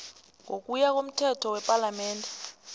ngokuya komthetho wepalamende